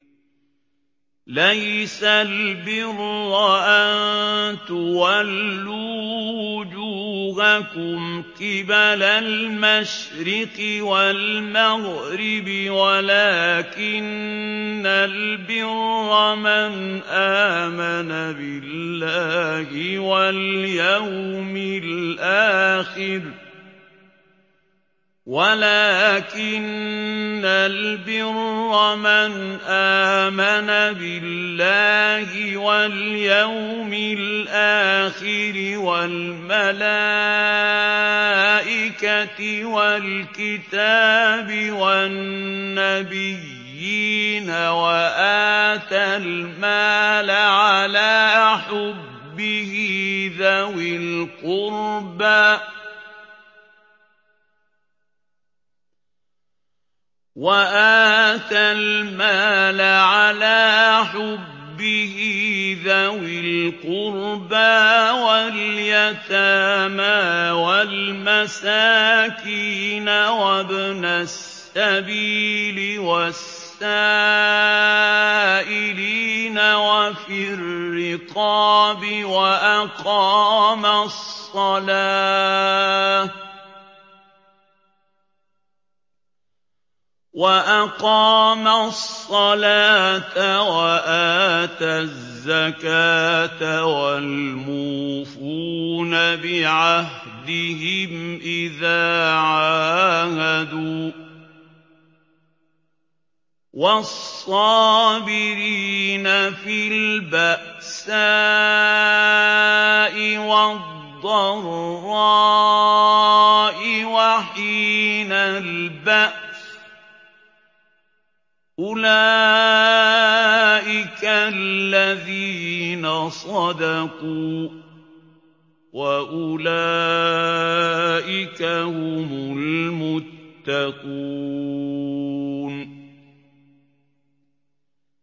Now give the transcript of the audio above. ۞ لَّيْسَ الْبِرَّ أَن تُوَلُّوا وُجُوهَكُمْ قِبَلَ الْمَشْرِقِ وَالْمَغْرِبِ وَلَٰكِنَّ الْبِرَّ مَنْ آمَنَ بِاللَّهِ وَالْيَوْمِ الْآخِرِ وَالْمَلَائِكَةِ وَالْكِتَابِ وَالنَّبِيِّينَ وَآتَى الْمَالَ عَلَىٰ حُبِّهِ ذَوِي الْقُرْبَىٰ وَالْيَتَامَىٰ وَالْمَسَاكِينَ وَابْنَ السَّبِيلِ وَالسَّائِلِينَ وَفِي الرِّقَابِ وَأَقَامَ الصَّلَاةَ وَآتَى الزَّكَاةَ وَالْمُوفُونَ بِعَهْدِهِمْ إِذَا عَاهَدُوا ۖ وَالصَّابِرِينَ فِي الْبَأْسَاءِ وَالضَّرَّاءِ وَحِينَ الْبَأْسِ ۗ أُولَٰئِكَ الَّذِينَ صَدَقُوا ۖ وَأُولَٰئِكَ هُمُ الْمُتَّقُونَ